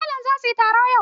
Malamai zasuyi taro yau